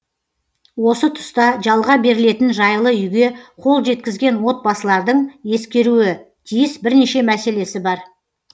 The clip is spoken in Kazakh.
осы тұста жалға берілетін жайлы үйге қол жеткізген отбасылардың ескеруі тиіс бірнеше мәселесі бар